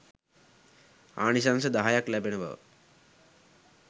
ආනිශංස දහයක් ලැබෙන බව